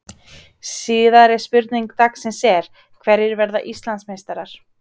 Síðari spurning dagsins er: Hverjir verða Íslandsmeistarar?